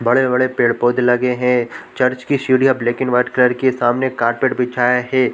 बड़े-बड़े पेड़ पौधे लगे है चर्च की सीढ़ियां ब्लैक एंड व्हाइट कलर की है सामने कारपेट बिछाया है।